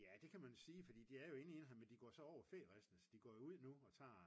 ja det kan man sige fordi de er jo egentlig indhegnede men de går jo så færisten så de går jo ud nu og tager